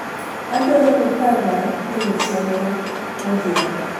adwaro niiparna ewi chenro modhiambo